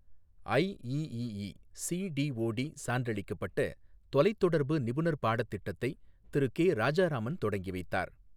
IEEE C DOT சான்றளிக்கப்பட்ட தொலைத்தொடர்பு நிபுணர் பாடத்திட்டத்தை திரு கே ராஜாராமன் தொடங்கிவைத்தார்